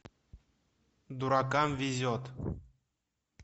дуракам везет